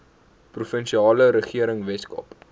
provinsiale regering weskaap